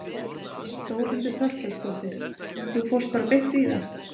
Þórhildur Þorkelsdóttir: Þú fórst bara beint í það?